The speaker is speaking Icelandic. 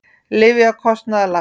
Lyfjakostnaður lækkar